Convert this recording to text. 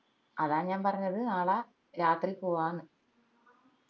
അതാ ഞാൻ പറഞ്ഞത് നാള രാത്രി പോവാന്ന്